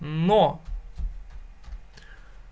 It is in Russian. но